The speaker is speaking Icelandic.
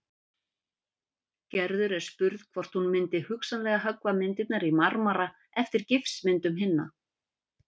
Gerður er spurð hvort hún myndi hugsanlega höggva myndirnar í marmara eftir gifsmyndum hinna.